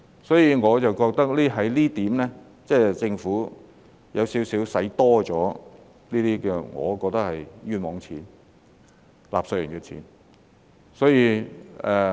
所以，我覺得在這一點上，政府似乎是多花了錢，我覺得這是冤枉錢，是納稅人的錢。